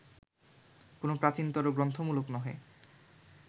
কোন প্রাচীনতর-গ্রন্থমূলক নহে